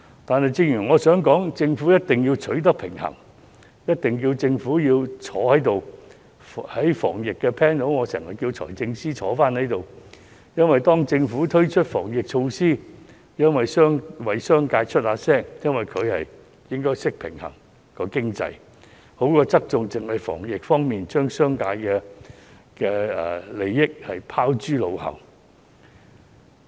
但是，我想指出，政府一定要取得平衡，而且政府一定要出席會議——我在經常要求財政司司長列席討論有關防疫條例的 panel， 當政府推出防疫措施時，我們為商界發聲，而局方應該懂得平衡經濟，不要只是側重於防疫方面，而將商界利益拋諸腦後。